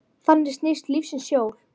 Þannig snýst lífsins hjól.